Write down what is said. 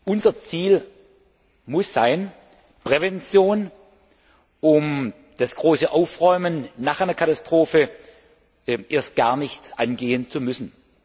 Unser Ziel muss Prävention sein, um das große Aufräumen nach einer Katastrophe erst gar nicht angehen zu müssen.